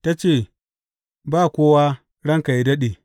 Ta ce, Ba kowa, ranka yă daɗe.